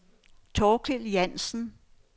Thorkild Jansen